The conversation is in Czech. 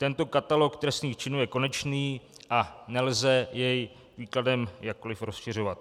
Tento katalog trestných činů je konečný a nelze jej výkladem jakkoli rozšiřovat.